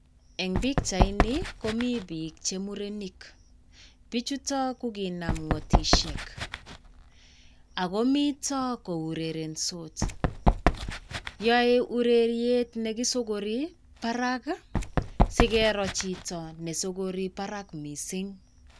Eng' pichaini, komi biik che murenik. Biichuto kokinam ng'otishek ago mito kourerensot. Yoe ureriet nekisokori barak, si keroo chito nesokori barak missing.